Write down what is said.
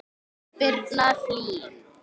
Birna Hlín.